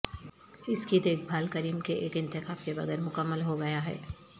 اس کی دیکھ بھال کریم کے ایک انتخاب کے بغیر مکمل ہو گیا ہے